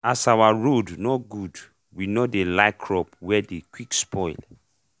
as our road nor good w nor dey like crop wey dey qick spoil